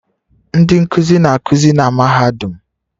Ndị nkuzi na-akụzi na mahadum